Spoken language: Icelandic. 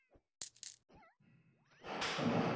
Sum dýr geta fjölgað sér.